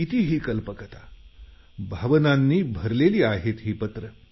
किती ही कल्पकता भावनांनी भरलेली आहेत ही पत्रं